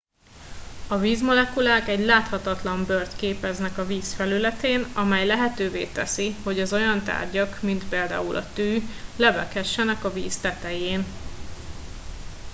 a vízmolekulák egy láthatatlan bőrt képeznek a víz felületén amely lehetővé teszi hogy az olyan tárgyak mint például a tű lebeghessenek a víz tetején